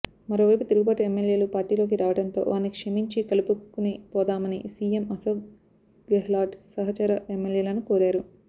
మరోవైపు తిరుగుబాటు ఎమ్మెల్యేలు పార్టీలోకి రావడంతో వారిని క్షమించి కలుపుకునిపోదామని సీఎం అశోక్ గెహ్లాట్ సహచర ఎమ్మెల్యేలను కోరారు